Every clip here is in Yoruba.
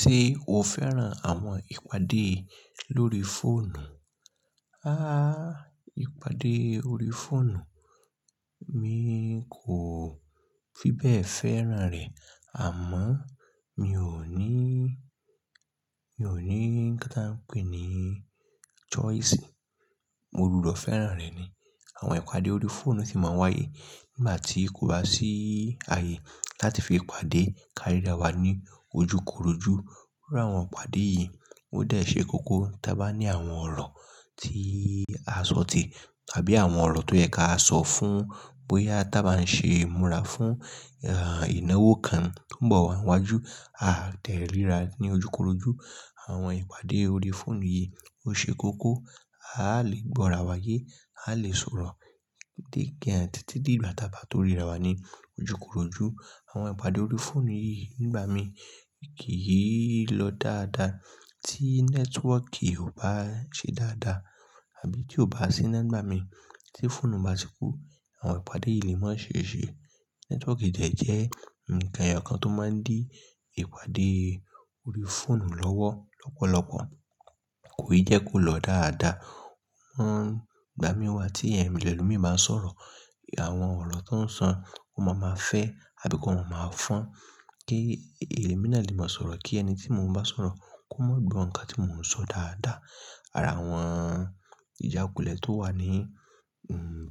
Ṣé o fẹ́ràn àwọn ìpàdé lórí fóònù? Àà, ìpàdé orí fóònù mi kò fi bẹ́ẹ̀ fẹ́ràn rẹ̀ àmọ́ mi ò ní, mi ò ní nnkan ta ń pè é ní choice. Mo gbùdọ fẹ́ràn rẹ̀ ni. Àwọn ìpàdé orí fóònù sì máa ń wáyé nígbà tí kò bá sí ààyè láti fi pàdé káríra wa ní ojúkorojú. Iru àwọn ìpàdé yìí ó dẹ́ ṣe kókó tí a bá ní àwọn ọ̀rọ̀ tí a ṣòtì àbí àwọn ọ̀rọ̀ tó yẹ ká sọ fún bóyá tí a bá ń ṣe ìmúra fún, à, ìnáwó kan tó ń bọ̀ wá níwájú, a deríra ní ojúkorojú. Àwọn ìpàdé orí fóònù yìí ó ṣe kókó. A lè gbọ́ra wáyé, a lè sọ̀rọ̀ dé gan tití dìgbà tábá tó ríra wa ní ojúkorojú. Àwọn ìpàdé orí fóònù yìí nígbà mi kì í lọ dáadáa tí nẹ́tíwọ̀kì ò bá ṣe dáadáa àbí tí ò bá sína ngbámi. Tí fóònù bá ti kú, àwọn ìpàdé yìí le máa ṣee ṣè. Nẹ́tíwọ̀kì dẹ̀ jẹ́ ǹkan ẹyọ kan tó máa ń dí ìpàdé orí fóònù lọ́wọ́ lọ́pọ̀lọpọ̀. Kòi jẹ kó lọ dáadáa. Wọ́n, ìgbà mí wá tí ẹlòmíí bá ń sọ̀rọ̀, àwọn ọ̀rọ̀ tó ń sọ wọ́n máa ma fẹ́ àbí kọ́ maa máa fọn kí èémí náà lè máa sọ̀rọ̀ kí ẹni tí mo ń bá sọ̀rọ̀ kó mọ̀ gbo nkan tí mò ń sọ dáadáa. Àrá àwọn ìjákulẹ̀ tó wà ní,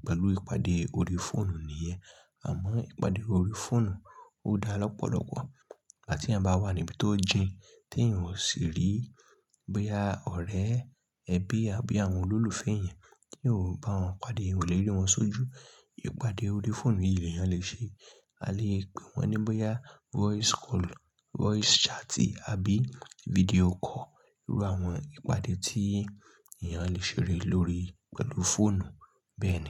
pẹ̀lú ìpàdé orí fóònù nìyẹn. Àmọ́ ìpàdé orí fóònù ó dá lọ́pọ̀lọpọ̀. Ígbà tí ẹ̀eyàn bá wà níbi tó jìn tí èèyàn ò sì rí bóyá ọ̀rẹ́ ẹbí àbí àwọn olólùfẹ́ èèyàn, tí ò bá wọn pàdé, ò lérí wọn sójú, ìpàdé orí fóònù yìí ni èèyàn lè ṣe. A lè pè wọ́n ní bóyá voice call, voice chat àbí video call. Iru àwọn ìpàdé tí èèyàn lè ṣe ré lórí pẹ̀lú fóònù bẹ́ẹ̀ ni.